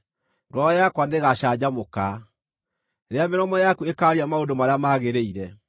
ngoro yakwa nĩĩgacanjamũka rĩrĩa mĩromo yaku ĩkaaria maũndũ marĩa magĩrĩire.